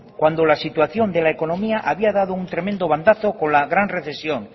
cuando la situación de la económica había dado un tremendo bandazo con la gran recesión